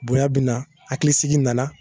Bonya be na hakilisigi nana